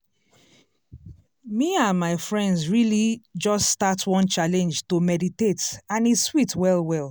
me and my friends really just start one challenge to meditate and e sweet well well.